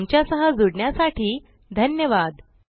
आमच्या सह जुडण्यासाठी धन्यवाद